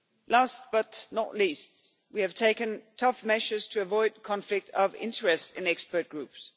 Last but not least, we have taken tough measures to avoid conflict of interest in expert groups.